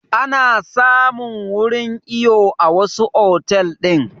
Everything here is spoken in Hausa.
Ana samun wurin iyo a wasu otal ɗin